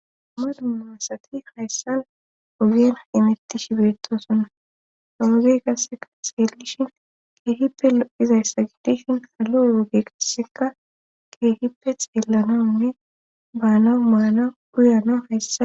Dumma dumma assati hayssan ogien imetishi biretosonna haloge qassekaa xeellishin keehippe lo7izayssa gitishin halo yooge qasseka keehippe xeellanonne baana maana guyana hayssa